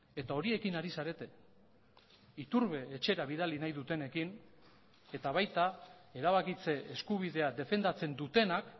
eta horiekin ari zarete iturbe etxera bidali nahi dutenekin eta baita erabakitze eskubidea defendatzen dutenak